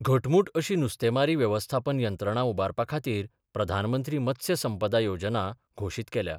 घटमुट अशी नुस्तेमारी व्यवस्थापन यंत्रणा उभारपा खातीर " प्रधानमंत्री मत्स्य संपदा " योजना घोशीत केल्या.